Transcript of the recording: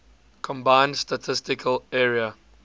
combined statistical area